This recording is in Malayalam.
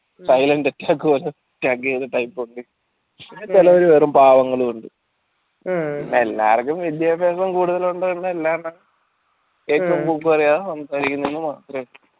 type ഉണ്ട് ചേലോര് വെറും പാവാങ്ങളുണ്ട് പിന്നെ എല്ലാവർക്കും വെല്യ വിത്യാസം കൂടുതലുണ്ടോ എന്നല്